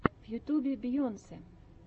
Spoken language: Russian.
в ютьюбе бейонсе